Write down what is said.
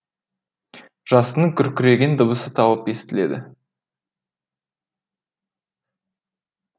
жасынның күркіреген дыбысы талып естіледі